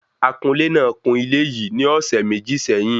Akunlè náà kún ilé yìí ní ọ̀sẹ̀ méjì sẹ́yìn